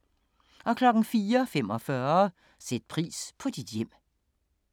04:45: Sæt pris på dit hjem